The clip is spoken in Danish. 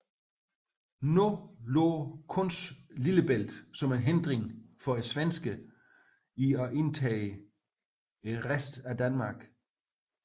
Nu lå kun Lillebælt som en hindring for svenskerne i at indtage resten af Danmark